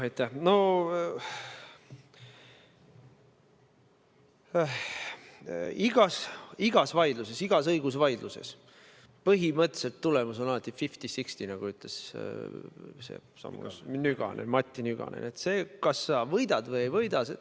Igas vaidluses, igas õigusvaidluses on tulemus põhimõtteliselt alati fifty : sixty, nagu ütles Matti Nykänen – kas sa võidad või ei võida.